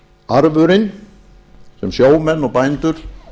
arfurinn sem sjómenn og bændur